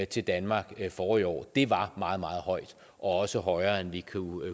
til danmark forrige år var meget meget højt og også højere end vi